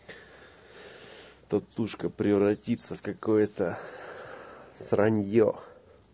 татушка превратиться в какое-то сраньо